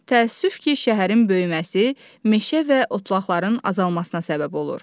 Təəssüf ki, şəhərin böyüməsi meşə və otlaqların azalmasına səbəb olur.